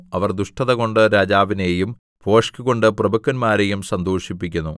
അവർ ദുഷ്ടതകൊണ്ട് രാജാവിനെയും ഭോഷ്കുകൊണ്ട് പ്രഭുക്കന്മാരെയും സന്തോഷിപ്പിക്കുന്നു